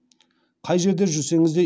қай жерде жүрсеңіз де